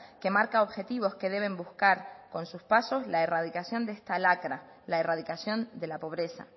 que marca objetivos que deben buscar con sus pasos la erradicación de esta lacra la erradicación de la pobreza